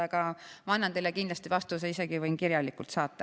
Aga ma annan teile kindlasti vastuse, võin selle isegi kirjalikult saata.